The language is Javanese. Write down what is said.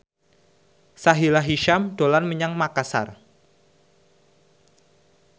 Sahila Hisyam dolan menyang Makasar